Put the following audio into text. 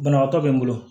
Banabaatɔ be n bolo